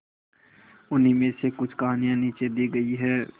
उन्हीं में से कुछ कहानियां नीचे दी गई है